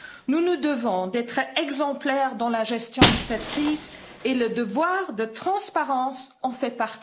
Nous nous devons d'être exemplaires dans la gestion de cette crise et le devoir de transparence en fait partie.